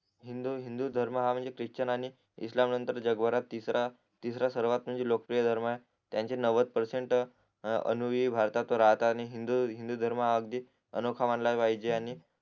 हिंदू हिंदू हिंदूहा धर्म म्हणजे ख्रिचन आणि इस्लाम नंतर जगभरात तिसरा तिसरा लोकप्रिय धर्म त्यांच्या नव्हद परसेन्ट अणुविव भारतात राहतात आणि हिंदू हिन्दूधर्म हा अगदी अनोखा मानला पाहिजे आणि